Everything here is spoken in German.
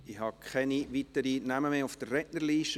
Ich habe keine weiteren Namen auf der Rednerliste.